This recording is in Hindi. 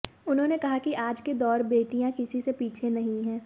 उन्होंने कहा कि आज के दौर बेटियां किसी से पीछे नहीं है